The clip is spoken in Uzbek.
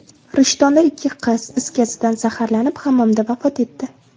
Rishtonda ikki qiz is gazidan zaharlanib, hammomda vafot etdi .